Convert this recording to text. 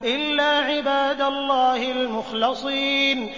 إِلَّا عِبَادَ اللَّهِ الْمُخْلَصِينَ